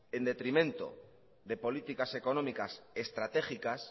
en detrimento de políticas económicas estratégicas